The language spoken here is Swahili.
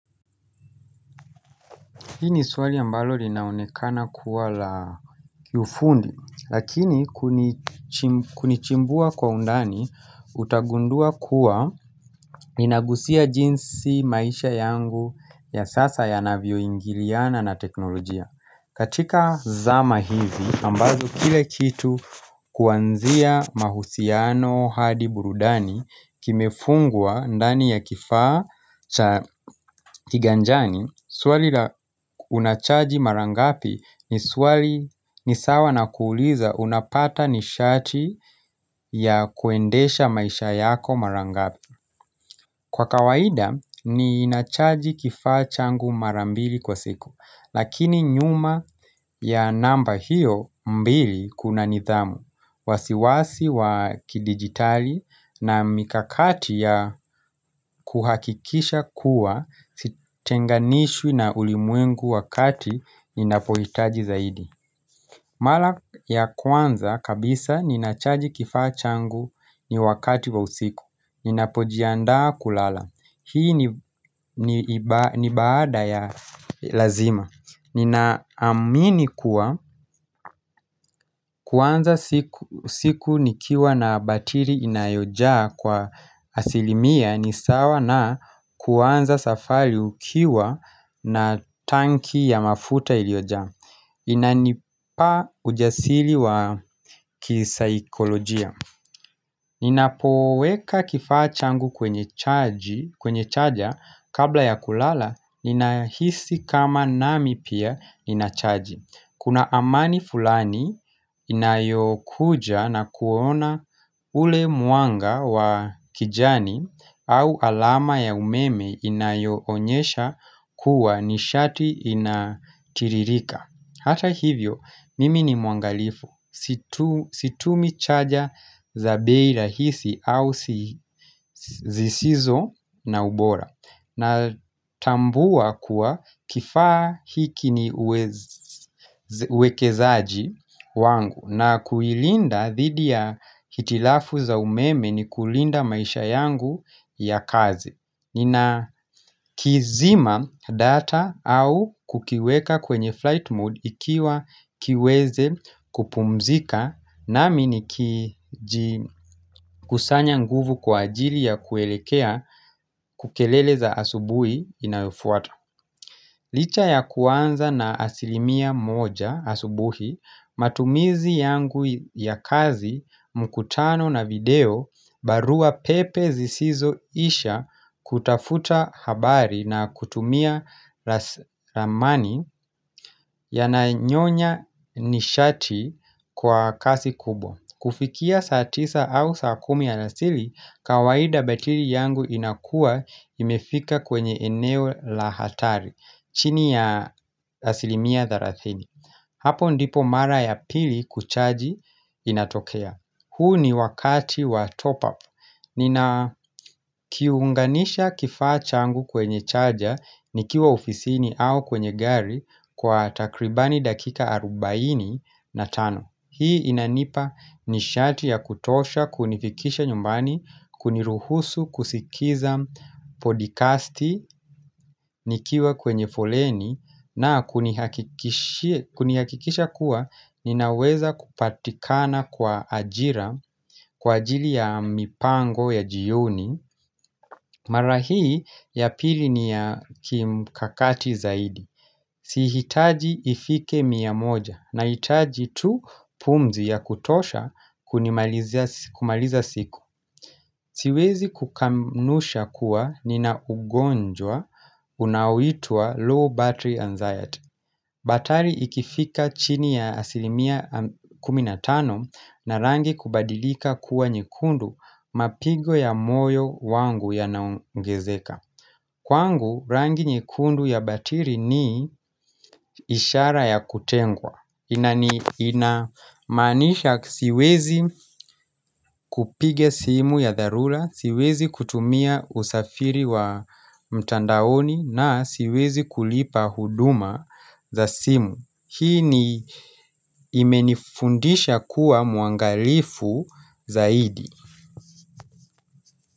Hii ni swali ambalo linaonekana kuwa la ufundi, lakini kunichimbua kwa undani utagundua kuwa inagusia jinsi maisha yangu ya sasa ya navyo ingiliana na teknolojia. Katika zama hivi, ambavyo kile kitu kuanzia mahusiano hadi burudani kimefungwa ndani ya kifaa cha kiganjani Swali la unachaji marangapi ni swali nisawa na kuuliza unapata nishati ya kuendesha maisha yako marangapi Kwa kawaida, ni nachaji kifaa changu marambili kwa siku, lakini nyuma ya namba hiyo mbili kuna nithamu, wasiwasi wa kidigitali na mikakati ya kuhakikisha kuwa sitenganishwi na ulimwengu wakati ninapohitaji zaidi. Mala ya kwanza kabisa ninachaji kifaa changu ni wakati wa usiku Ninapojianda kulala Hii ni baada ya lazima Ninaamini kuwa kuanza siku nikiwa na batiri inayojaa kwa asilimia ni sawa na kwanza safari ukiwa na tanki ya mafuta iliojaa Inanipa ujasili wa kisaikolojia Ninapoweka kifaa changu kwenye chaja kabla ya kulala Ninahisi kama nami pia inachaji Kuna amani fulani inayokuja na kuona ule muanga wa kijani au alama ya umeme inayoonyesha kuwa nishati inatiririka Hata hivyo, mimi ni muangalifu, situmi chaja za bei ra hisi au zisizo na ubora na tambua kuwa kifaa hiki ni uwekezaji wangu na kuilinda thidi ya hitilafu za umeme ni kulinda maisha yangu ya kazi Nina kizima data au kukiweka kwenye flight mode ikiwa kiweze kupumzika na minikiji kusanya nguvu kwa ajili ya kuelekea kukelele za asubuhi inayofuata. Licha ya kuanza na asilimia moja asubuhi, matumizi yangu ya kazi, mkutano na video barua pepe zisizo isha kutafuta habari na kutumia ramani ya na nyonya nishati kwa kasi kubwa. Kufikia saa tisa au saa kumi alasili, kawaida batili yangu inakuwa imefika kwenye eneo lahatari, chini ya asilimia tharathini. Hapo ndipo mara ya pili kuchaji inatokea. Huu ni wakati wa top up. Nina kiunganisha kifaa changu kwenye chaja nikiwa ofisini au kwenye gari kwa takribani dakika arubaini na tano. Hii inanipa nishati ya kutosha, kunifikisha nyumbani, kuniruhusu, kusikiza podikasti, nikiwa kwenye foleni na kunihakikishi kunihakikisha kuwa ninaweza kupatikana kwa ajira, kwa ajili ya mipango ya jioni. Marahii ya pili ni ya kimkakati zaidi Sihitaji ifike miamoja na hitaji tu pumzi ya kutosha kumaliza siku Siwezi kukanusha kuwa nina ugonjwa unaitwa low battery anxiety Batari ikifika chini ya asilimia kuminatano na rangi kubadilika kuwa nyekundu mapigo ya moyo wangu ya naongezeka. Kwangu, rangi nyekundu ya batiri ni ishara ya kutengwa. Inani inamanisha siwezi kupiga simu ya dharula, siwezi kutumia usafiri wa mtandaoni na siwezi kulipa huduma za simu. Hii ni imenifundisha kuwa muangalifu zaidi.